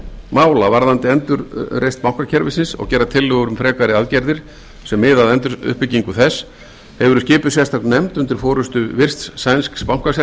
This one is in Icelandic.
mála varðandi endurreisn bankakerfisins og gera tillögur um frekari aðgerðir sem miða að enduruppbyggingu þess hefur verið skipuð sérstök nefnd undir forustu virts sænsks bankasérfræðings sem